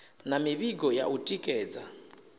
na mivhigo ya u tikedza